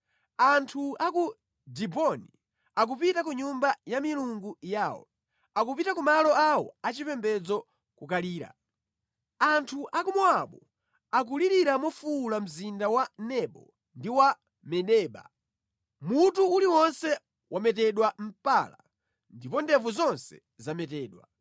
Anthu a ku Diboni akupita ku nyumba ya milungu yawo, akupita ku malo awo achipembedzo kukalira; anthu a ku Mowabu akulirira mofuwula mzinda wa Nebo ndi wa Medeba. Mutu uliwonse wametedwa mpala, ndipo ndevu zonse zametedwa.